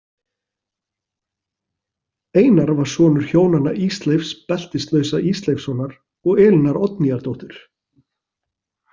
Einar var sonur hjónanna Ísleifs beltislausa Ísleifssonar og Elínar Oddnýjardóttur.